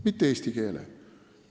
Mitte eesti keele.